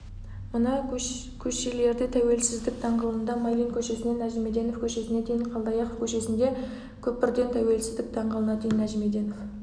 мына көшелердетәуелсіздік даңғылында майлин көшесінен нәжімеденов көшесіне дейін қалдаяқов көшесінде көпірдентәуелсіздік даңғылына дейін нәжімеденов